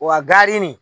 Wa gari nin